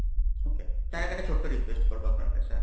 okay তার আগে একটা ছোট্ট request করবো আপনার কাছে?